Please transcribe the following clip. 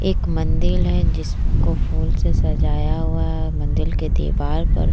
एक मंदिर है जिसको फूल से सजाया हुआ है मंदिर के दीवार पर --